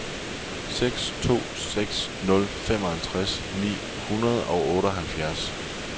seks to seks nul femoghalvtreds ni hundrede og otteoghalvfjerds